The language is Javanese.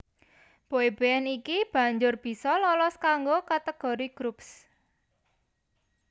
Boy band iki banjur bisa lolos kanggo kategori Groups